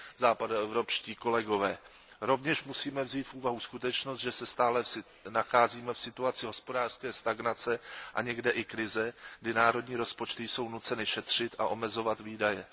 západoevropští kolegové. Rovněž musíme vzít v úvahu skutečnost, že se stále nacházíme v situaci hospodářské stagnace a někde i krize, kdy národní rozpočty jsou nuceny šetřit a omezovat výdaje.